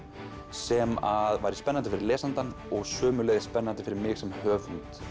sem væri spennandi fyrir lesandann og sömuleiðis spennandi fyrir mig sem höfund